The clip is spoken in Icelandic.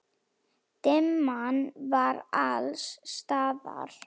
Dimman var alls staðar.